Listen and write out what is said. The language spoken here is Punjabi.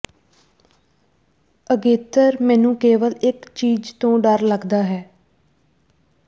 ਅਗੇਤਰ ਮੈਨੂੰ ਕੇਵਲ ਇਕ ਚੀਜ਼ ਤੋਂ ਡਰ ਲੱਗਦਾ ਹੈ